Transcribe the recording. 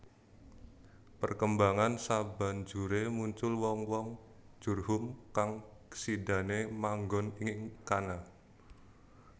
Perkembangan sabanjuré muncul wong wong Jurhum kang sidané manggon ing kana